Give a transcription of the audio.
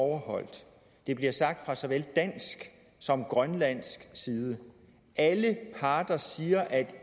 overholdt det bliver sagt fra såvel dansk som grønlandsk side alle parter siger at